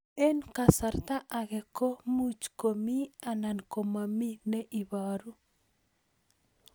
Eng' kasarta ag'e ko much ko mii anan komamii ne ibaru